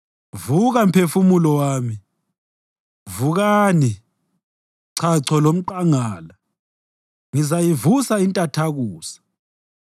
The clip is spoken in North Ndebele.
Vuka, mphefumulo wami! Vukani, chacho lomqangala! Ngizayivusa intathakusa.